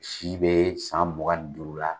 Si bɛ san mugan ni duuru la.